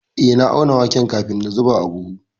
Eh, na auna waken kafin na zuba a buhu.